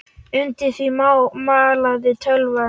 Undir því malaði tölvan.